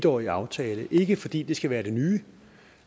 årig aftale ikke fordi det skal være det nye